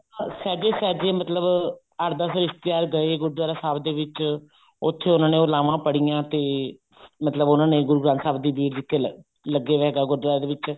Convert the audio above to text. ਸਹਿਜੇ ਸਹਿਜੇ ਮਤਲਬ ਅੱਠ ਦੱਸ ਰਿਸ਼ਤੇਦਰ ਗਏ ਗੁਰਦਵਾਰਾ ਸਾਹਿਬ ਦੇ ਵਿੱਚ ਉੱਥੇ ਉਹਨਾ ਨੇ ਉਹ ਲਾਵਾਂ ਪੜੀਆਂ ਤੇ ਮਤਲਬ ਉਹਨਾ ਨੇ ਗੁਰੂ ਗ੍ਰੰਥ ਸਾਹਿਬ ਦੀ ਬੀੜ ਲੱਗੇ ਰਹੇ ਗੁਰਦਵਾਰੇ ਸਾਹਿਬ ਵਿੱਚ